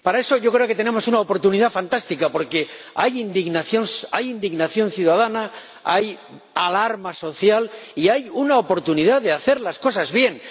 Para eso, yo creo que tenemos una oportunidad fantástica, porque hay indignación, hay indignación ciudadana, hay alarma social y hay una oportunidad de hacer las cosas bien.